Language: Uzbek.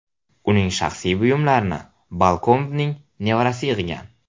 Uning shaxsiy buyumlarini Balkombning nevarasi yig‘gan.